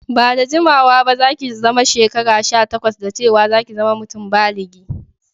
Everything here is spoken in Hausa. Ba'da jimawa ba za'ki zama shekara sha takwas, da cewa za'ki zama mutum báligi.